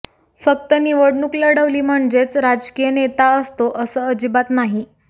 फक्त निवडणूक लढवली म्हणजेच राजकीय नेता असतो असं अजिबात नाही